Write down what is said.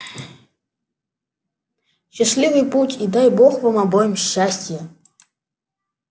счастливый путь и дай бог вам обоим счастия